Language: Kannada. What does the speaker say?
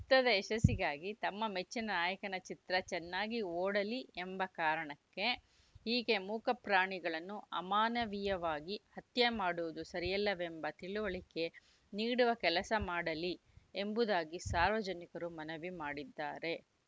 ಚಿತ್ರದ ಯಶಸ್ಸಿಗಾಗಿ ತಮ್ಮ ಮೆಚ್ಚಿನ ನಾಯಕನ ಚಿತ್ರ ಚೆನ್ನಾಗಿ ಓಡಲಿ ಎಂಬ ಕಾರಣಕ್ಕೆ ಹೀಗೆ ಮೂಕ ಪ್ರಾಣಿಗಳನ್ನು ಅಮಾನವೀಯವಾಗಿ ಹತ್ಯೆ ಮಾಡುವುದು ಸರಿಯಲ್ಲವೆಂಬ ತಿಳಿವಳಿಕೆ ನೀಡುವ ಕೆಲಸ ಮಾಡಲಿ ಎಂಬುದಾಗಿ ಸಾರ್ವಜನಿಕರು ಮನವಿ ಮಾಡಿದ್ದಾರೆ